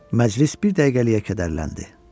Məclis bir dəqiqəliyə kədərləndi.